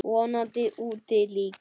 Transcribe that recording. Vonandi úti líka.